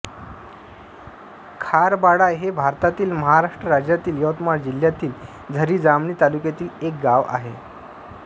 खारबाडा हे भारतातील महाराष्ट्र राज्यातील यवतमाळ जिल्ह्यातील झरी जामणी तालुक्यातील एक गाव आहे